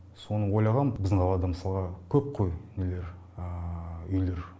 соны ойлағам біздің қалада мысалға көп қой нелер үйлер